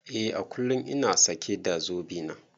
Eh à kullum ina sake da zobe na.